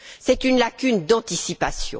C'est une lacune d'anticipation.